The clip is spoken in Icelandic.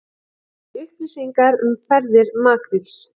Vill upplýsingar um ferðir makríls